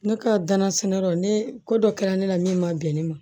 Ne ka danan sɛnɛyɔrɔ ne ko dɔ kɛra ne la min ma bɛn ne ma